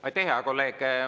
Aitäh, hea kolleeg!